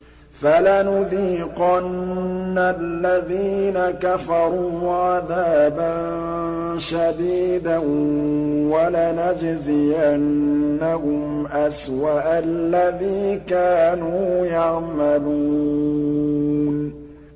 فَلَنُذِيقَنَّ الَّذِينَ كَفَرُوا عَذَابًا شَدِيدًا وَلَنَجْزِيَنَّهُمْ أَسْوَأَ الَّذِي كَانُوا يَعْمَلُونَ